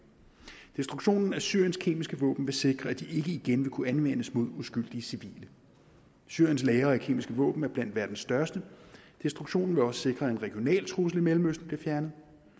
destruktionen af syriens kemiske våben vil sikre at de ikke igen vil kunne anvendes mod uskyldige civile syriens lagre af kemiske våben er blandt verdens største destruktionen vil også sikre at en regional trussel i mellemøsten bliver fjernet